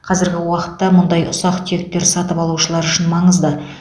қазіргі уақытта мұндай ұсақ түйектер сатып алушылар үшін маңызды